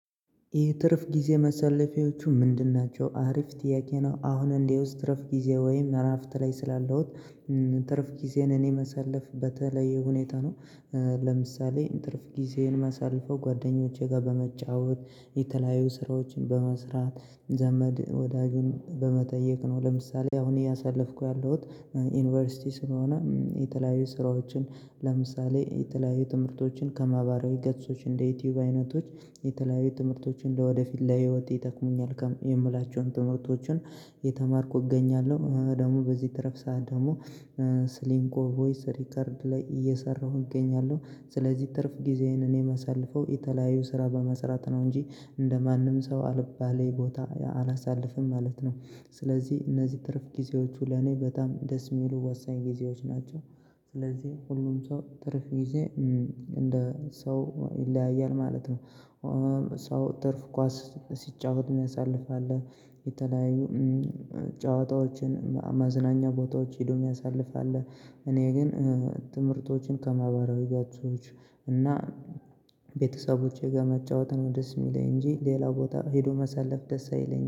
የትርፍ ጊዜ ማሳለፊያዎቹ ምንድን ናቸው። አሪፍ ጥያቄ ነው። አሁን እንደው እረፍት ጊዜ ወይም እረፍት ላይ ስላለሁኝ ትርፍ ጊዜን እኔ ማሳለፍ በተለይ ሁኔታ ነው። ለምሳሌ ትርፍ ጊዜን ማሳልፈው ጓደኞቼ ጋር በመጫወት፣ የተለያዩ ስራዎችን በመስራት፣ ዘመድ ወዳጁን በመጠየቅ ነው። ለምሳሌ አሁን እያሳለፍኩት ያለሁት ዩኒቨርሲቲ ስለሆነ የተለያዩ ስራዎችን ለምሳሌ የተለያዩ ትምህርቶችን ከማህበራዊ ገጾች እንደ ዩቲዩብ አይነቶች የተለያዩ ትምህርቶችን ለወደፊት ለህይወቴ ይጠቅሙኛል የምላቸውን ትምህርቶችን የተማርኩ እገኛለሁ። ደግሞ በዚህ ትረፍ ሰዓት ደግሞ ስሊንኮ ቮይስ ሪከርድ ላይ እየሰራሁ እገኛለሁ። ስለዚህ ትርፍ ጊዜዬን እኔ የማሳልፈው የተለያዩ ስራ በመስራት ነው እንጂ እንደማንም ሰው አልባሌ ቦታ አላሳልፍም ማለት ነው። ስለዚህ እነዚህ ትርፍ ጊዜዎቹ ለኔ በጣም ደስ የሚሉ ዋሳኝ ጊዜዎች ናቸው። ስለዚህ ሁሉም ሰው ትርፍ ጊዜ እንደ ሰው ይለያያል ማለት ነው። ሰው ትርፍ ኳስ ሲጫወት እሚያሳልፍ አለ። የተለያዩ ጨዋታዎችን አማዝናኛ ቦታዎች ሄዶ የሚያሳልፍ አለ። እኔ ግን ትምህርቶችን ከማህበራዊ ጋር ሰዎች እና ቤተሰቦቼ ጋር መጫወት ነው ደስ የሚለኝ። እንጂ ሌላ ቦታ ሄዶ መሳለፍ ደስ አይለኝም።